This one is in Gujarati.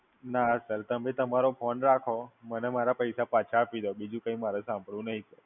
ના Sir તમે તમારો Phone રાખો. મને મારા પૈસા પાછા આપી દો. બીજું કઈ મારે સાંભળવું નહીં.